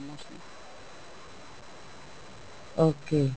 okay